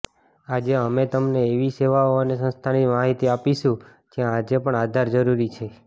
આજે અમે તમને એવી સેવાઓ અને સંસ્થાની માહિતી આપીશું જ્યાં આજે પણ આધાર જરૂરી છે